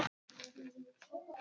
Unga konu, fallega konu.